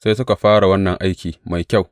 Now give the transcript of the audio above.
Sai suka fara wannan aiki mai kyau.